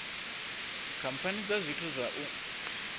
khamphani dza zwithu zwa u